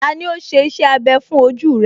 Tani ó ṣe iṣẹ́ abẹ fún ojú rẹ̀?